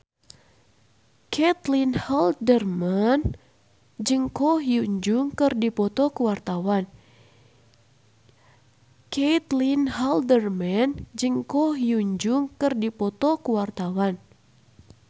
Caitlin Halderman jeung Ko Hyun Jung keur dipoto ku wartawan